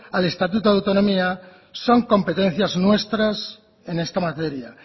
al estatuto de autonomía son competencias nuestras en esta materia